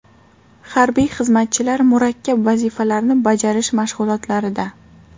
Harbiy xizmatchilar murakkab vazifalarni bajarish mashg‘ulotlarida.